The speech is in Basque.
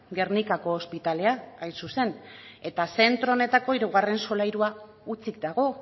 gernikako ospitalea hain zuzen eta zentro honetako hirugarren solairua hutsik dago